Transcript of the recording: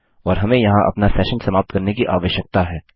और हमें यहाँ अपना सेशन समाप्त करने की आवश्यकता है